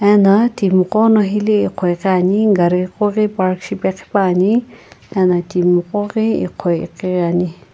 ano timi gho no hila ighoighi ni gari ghoghi park shipeghi pa ne ano timi gho ghi ighoighiri Ani.